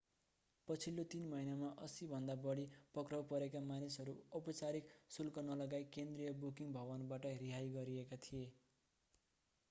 पछिल्लो 3 महिनामा 80 भन्दा बढी पक्राउ परेका मानिसहरू औपचारिक शुल्क नलगाई केन्द्रीय बुकिङ भवनबाट रिहाई गरिएका थिए